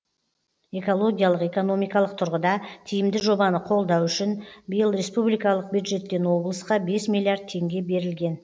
экологиялық экономикалық тұрғыда тиімді жобаны қолдау үшін биыл республикалық бюджеттен облысқа бес миллиард теңге берілген